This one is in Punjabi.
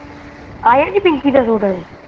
ਆਯਾ ਨਹੀਂ ਪਿੰਕੀ ਦਾ ਸੂਟ ਕਰਕੇ